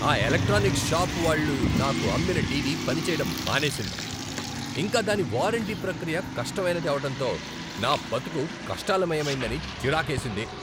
ఆ electronic shop వాళ్ళు నాకు అమ్మిన టీవీ పనిచేయడం మానేసింది, ఇంకా దాని వారంటీ ప్రక్రియ కష్టమైనది అవటంతో నా బతుకు కష్టాలమయమైందని చిరాకేసింది.